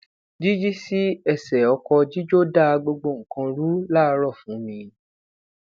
jiji si ẹsẹ ọkọ jijo da gbogbo nnkan ru laaarọ fun mi